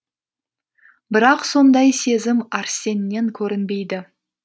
бірақ сондай сезім арсеннен көрінбейді